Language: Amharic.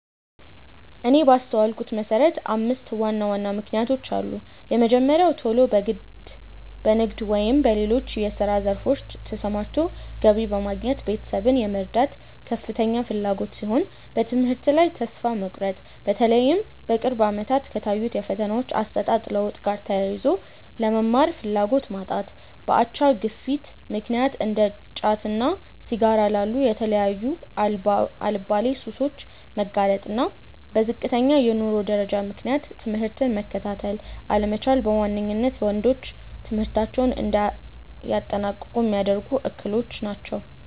እኔ ባስተዋልኩት መሰረት አምስት ዋና ዋና ምክንያቶች አሉ። የመጀመሪያው ቶሎ በንግድ ወይም በሌሎች የስራ ዘርፎች ተሰማርቶ ገቢ በማግኘት ቤተሰብን የመርዳት ከፍተኛ ፍላጎት ሲሆን፤ በትምህርት ላይ ተስፋ መቁረጥ(በተለይም በቅርብ አመታት ከታዩት የፈተናዎች አሰጣጥ ለውጥ ጋር ተያይዞ)፣ ለመማር ፍላጎት ማጣት፣ በአቻ ግፊት ምክንያት እንደ ጫትና ሲጋራ ላሉ የተለያዩ አልባሌ ሱሶች መጋለጥ፣ እና በዝቅተኛ የኑሮ ደረጃ ምክንያት ትምህርትን መከታተል አለመቻል በዋነኝነት ወንዶች ትምህርታቸውን እንዳያጠናቅቁ ሚያደርጉ እክሎች ናቸው።